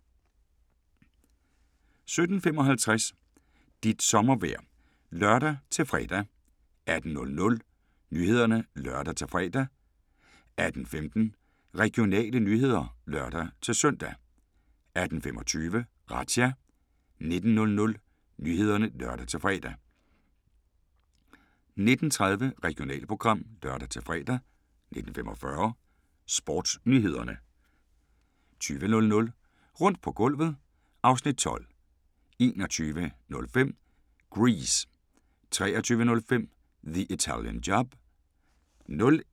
17:55: Dit sommervejr (lør-fre) 18:00: Nyhederne (lør-fre) 18:15: Regionale nyheder (lør-søn) 18:25: Razzia 19:00: Nyhederne (lør-fre) 19:30: Regionalprogram (lør-fre) 19:45: Sportsnyhederne 20:00: Rundt på gulvet (Afs. 12) 21:05: Grease 23:05: The Italian Job